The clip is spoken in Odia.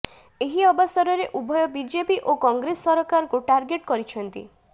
ଏହି ଅବସରରେ ଉଭୟ ବିଜେପି ଓ କଂଗ୍ରେସ ସରକାରକୁ ଟାର୍ଗେଟ୍ କରିଛନ୍ତି